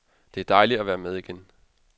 Det er dejligt at være med igen.